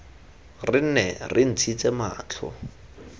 re nne re ntshitse matlho